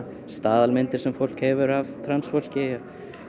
staðalmyndir sem fólk hefur af transfólki ég